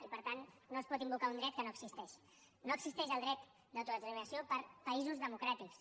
i per tant no es pot invocar un dret que no existeix no existeix el dret d’autodeterminació per a països democràtics